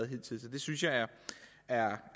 hidtil så det synes jeg er er